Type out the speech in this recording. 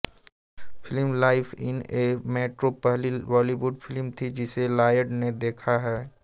film life in a metro पहली Bollywood film थी जिसे लॉयड ने देखा है